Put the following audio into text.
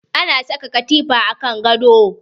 Ana saka katifa a kan gado